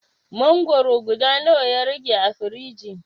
Mangwaro guda nawa ya rage a firiji?